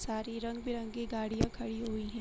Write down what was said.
सारी रंग बिरंगी गाडि़या खड़ी हुई हैं।